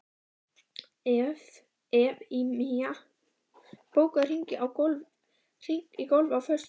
Evfemía, bókaðu hring í golf á föstudaginn.